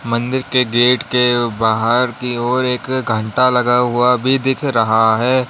मंदिर के गेट के बाहर की ओर एक घंटा लगा हुआ भी दिख रहा है।